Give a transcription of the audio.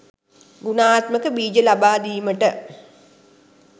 ගුණාත්මක බිජ ලබා දීමට